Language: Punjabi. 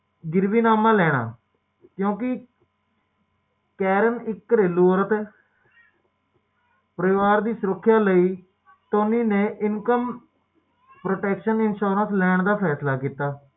ਜਿਹੜੀ ਪੈਸੇ ਦੀ ਘਾਟ ਹੈ ਓਹਨੂੰ ਥੋੜਾ